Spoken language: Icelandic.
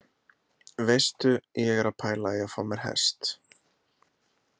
Veistu, ég er að pæla í að fá mér hest!